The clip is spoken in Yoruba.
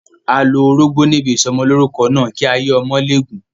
A lo orógbó níbi ìsọmọlórúkọ náà, kí ayé ọmọ lè gùn.